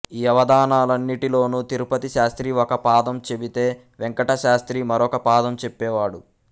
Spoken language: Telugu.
ఈ అవధానాలన్నింటిలోను తిరుపతిశాస్త్రి ఒక పాదం చెబితే వేంకటశాస్త్రి మరొక పాదం చెప్పేవాడు